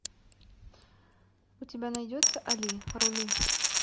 у тебя найдется али рули